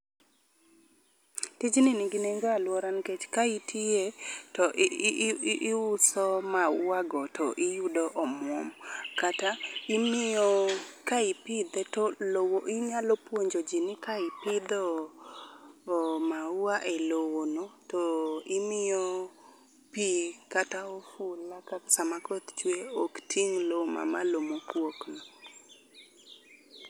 Tij ni nigi nengo e aluorawa nikech ka itiye to iuso mauwago to iyudo omuom. Kata imiyo ka ipidhe to lowo inyalo puonjoji ni ka ipidhe mauwa e lowono to imiyo pi kata oula sama koth chwe, ok ting' lowo mamalo mokwokno.